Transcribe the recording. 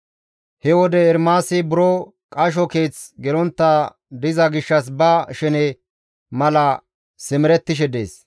He wode Ermaasi buro qasho keeth gelontta diza gishshas ba shene mala simerettishe dees.